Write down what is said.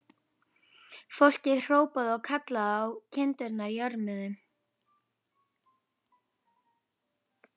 Fólkið hrópaði og kallaði og kindurnar jörmuðu.